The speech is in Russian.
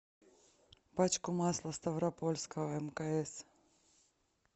пачку масла ставропольского мкс